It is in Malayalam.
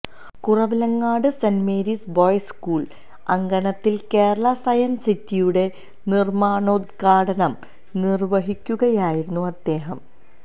Kuravilangad Saint Mary's Boys School അങ്കണത്തില് കേരള സയന്സ് സിറ്റിയുടെ നിര്മ്മാണോദ്ഘാടനം നിര്വ്വഹിക്കുകയായിരുന്നു അദ്ദേഹം